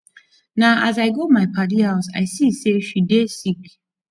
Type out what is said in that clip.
na as i go my paddy house i see sey she dey sick